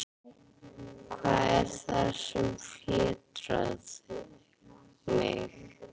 Hvað er það sem fjötrar mig?